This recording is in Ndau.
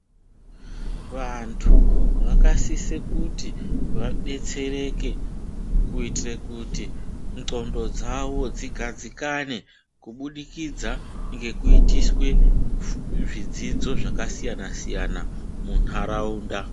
Vantu vakasise kuti vadetsereke kuitire kuti ndxondo dzawo dzigadzikane kubudikidza ngekuitiswe zvidzidzo zvakasiyana siyana muntaraunda.